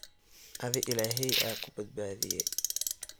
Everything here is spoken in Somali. Adhi illahey aa kubadbadhiye.